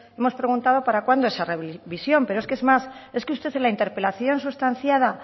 hemos preguntado para cuando esa revisión pero es que es más es que usted en la interpelación sustanciada